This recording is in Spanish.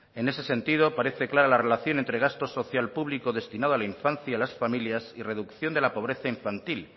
en ese sentido parece clara la relación entre gasto social público destinado a la infancia y a las familias y reducción de la pobreza infantil